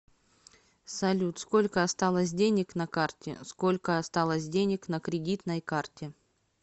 салют сколько осталось денег на карте сколько осталось денег на кредитной карте